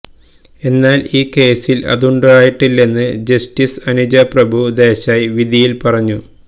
എന്നാല് ഈ കേസില് അതുണ്ടായിട്ടില്ലെന്ന് ജസ്റ്റിസ് അനുജ പ്രഭു ദേശായ് വിധിയില് പറഞ്ഞു